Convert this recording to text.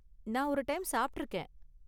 நான் ஒரு டைம் சாப்ட்டிருக்கேன்.